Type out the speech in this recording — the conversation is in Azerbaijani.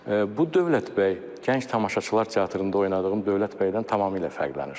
Bu Dövlət bəy Gənc Tamaşaçılar Teatrında oynadığım Dövlət bəydən tamamilə fərqlənir.